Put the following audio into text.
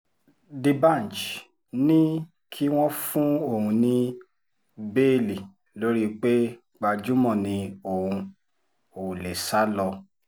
dbanji ní kí wọ́n fún òun ní béèlì lórí pé gbajúmọ̀ ni òun ò lè sá lọ